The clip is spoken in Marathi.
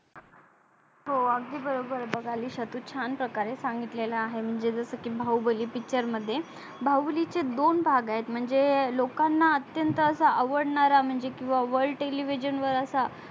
हो अगदी बरोबर बगालिश तू छान प्रकारे सांगितलेल आहे म्हणजे जस की बाहुबली picture मध्ये बाहुबलीचे दोन भाग आहे म्हणजे लोकाना अत्यंत असा आवडणारा म्हणजे किवा world television वर असा